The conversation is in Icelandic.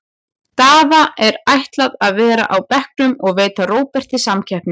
Daða er ætlað að vera á bekknum og veita Róberti samkeppni.